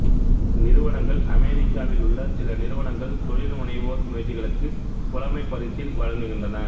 நிறுவனங்கள் அமெரிக்காவில் உள்ள சில நிறுவனங்கள் தொழில் முனைவோர் முயற்சிகளுக்கு புலமைப்பரிசில் வழங்குகின்றன